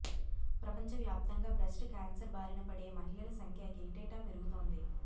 ప్రపంచ వ్యాప్తంగా breast cancer బారిన పడే మహిళల సంఖ్య ఏటేటా పెరుగుతోంది